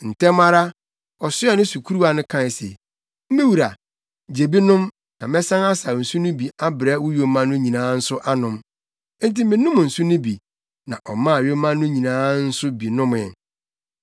“Ntɛm ara, ɔsoɛɛ ne sukuruwa no kae se, ‘Me wura, gye bi nom na mɛsan asaw nsu no bi abrɛ wo yoma no nyinaa nso anom.’ Enti menom nsu no bi, na ɔmaa yoma no nyinaa nso bi nomee.